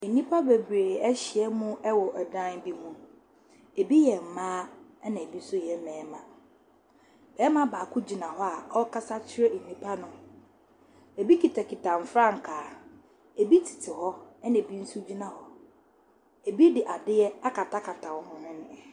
Nnipa bebree ahyia mu wɔ dan bi mu, bi yɛ mmaa na bi nso yɛ mmarima. Barima baako hyina hɔ a ɔrekasa kyerɛ nnipa no, bi kitakita mfrankaa, bi tete hɔ, na bi nso gyina hɔ. bi de adeɛ akatakata wɔn hwene.